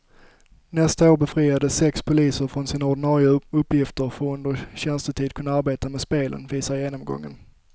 Nästa år befriades sex poliser från sina ordinarie uppgifter för att under tjänstetid kunna arbeta med spelen, visar genomgången.